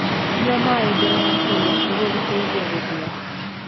Nyua maĩ mbere ya kũrĩa nĩguo gũteithia gũthia